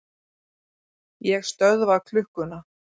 Ég stöðva klukkuna.